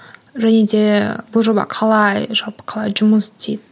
және де бұл жоба қалай жалпы қалай жұмыс істейді